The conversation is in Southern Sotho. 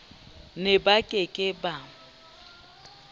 ne ba ke ke ba